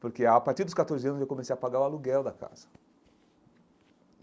Porque a partir dos catorze anos, eu comecei a pagar o aluguel da casa.